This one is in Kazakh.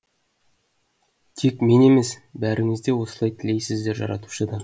тек мен емес бәріңізде осылай тілейсіздер жаратушыдан